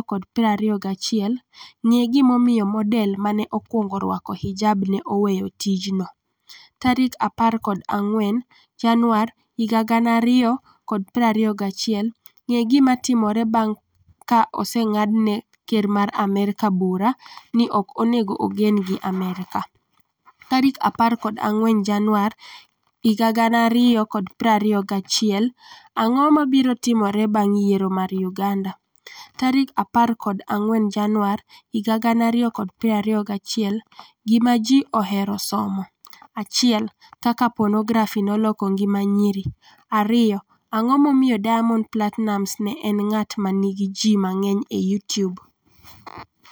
2021 Ng'e gimomiyo model ma ne okwongo rwako hijab ne 'oweyo tijno'14 January 2021 Ng'e gima timore bang' ka oseng'ad ne ker mar Amerka bura ni ok onego ogen gi Amerka? 14 Januar 2021 Ang'o mabiro timore bang' yiero mar Uganda? 14 Januar 2021 Gima Ji Ohero Somo 1 Kaka Ponografi Noloko Ngima Nyiri 2 Ang'o Momiyo Diamond Platinumz en ng'at ma nigi ji mang'eny e Youtube?